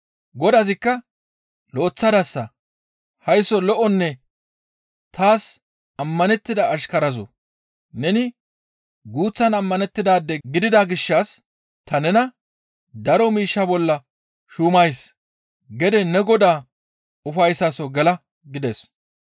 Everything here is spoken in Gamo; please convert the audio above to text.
Godazikka, ‹Lo7eththadasa; haysso lo7onne taas ammanettida ashkarazoo! Neni guuththan ammanettidaade gidida gishshas ta nena daro miishsha bolla shuumays; gede ne Godaa ufayssaso gela› gides.